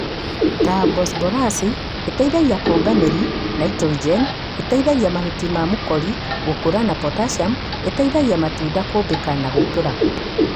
Ta bosborasi -ĩteithagia kũmba mĩri na naitrogeni - ĩteithagia mahuti na mũkori gũkũra na potasiamu -ĩteithagia matunda kũmbĩka na gũkũra